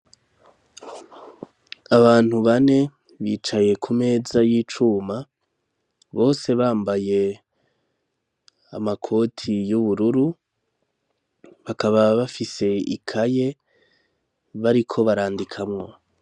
Abantu bane, bicaye ku meza y'icuma, bose bambaye amakoti y'ubururu, bakaba bafise ikaye bariko barandikamwo.